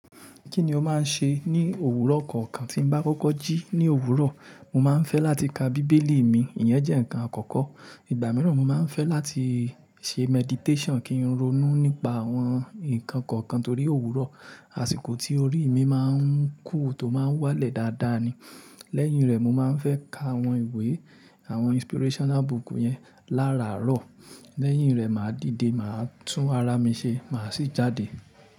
Kí ni ó máa ń ṣe ní òwúrọ̀ kọ̀ọ̀kan? Tín bá kọ́kọ́ jí ní òwúrọ̀, mo máa ń fẹ́ láti ka bíbélì mi, ìyẹn jẹ́ ǹkan àkọ́kọ́. Ìgbà mìíràn mo máa ń fẹ́ láti ṣe meditation kín ronú nípa àwọn ǹkan kọ̀ọ̀kan torí òwúrọ̀, àsìkò tí orí mi máa ń cool, tó máa ń wálẹ̀ dáadáa ni. Lẹ́yìn rẹ̀, mo máa ń fẹ́ ka àwọn ìwé, àwọn inspirational book yẹn láràárọ̀. Lẹ́yìn rẹ̀, màá dìde, màá tún ara mi ṣe, màá sì jáde.